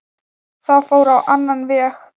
Það fór á annan veg.